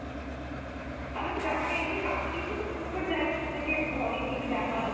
তালে তো জায়গাটা এমনি, দার্জিলিং তো খুব সুন্দর জায়গা শুনেছি একদম অনেক কিছু দেখার আছে,